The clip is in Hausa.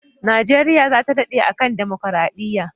Nigeria zata dade a kan democaradiya